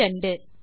10 மற்றும் 2